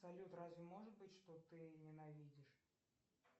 салют разве может быть что ты ненавидишь